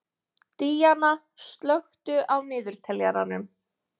Díanna, slökktu á niðurteljaranum.